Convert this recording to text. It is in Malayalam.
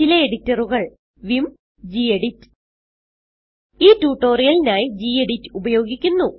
ചില എഡിറ്ററുകൾ vim ഗെഡിറ്റ് ഈ ട്യൂട്ടോറിയലിനായി ഗെഡിറ്റ് ഉപയോഗിക്കുന്നു